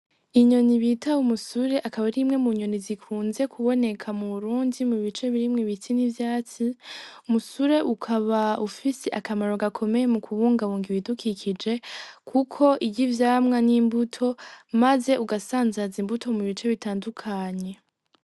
Inyoni bita umusure akaba ari imwe mu inyoni zikunze kuboneka mu Burundi mu bice birimwo ibiti n'ivyatsi umusure ukaba ufise akamaro gakomeye mu kubungabunga ibidukikije kuko irya ivyamwa n'imbuto maze ugasanzaza imbuto mu buryo butandukanye.